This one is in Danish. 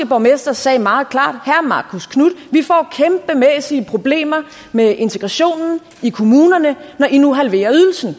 borgmester sagde meget klart herre marcus knuth vi får kæmpemæssige problemer med integrationen i kommunerne når i nu halverer ydelsen